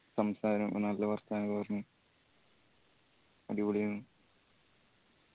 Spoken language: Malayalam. സംസാരും നല്ല വാർത്താനൊക്കെ പറഞ് അടിപൊളി ആയിനു